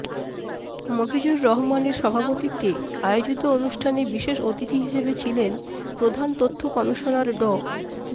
মফিজুর রহমানের সভাপতিত্বে আয়োজিত অনুষ্ঠানে বিশেষ অতিথি হিসেবে ছিলেন প্রধান তথ্য কমিশনার ড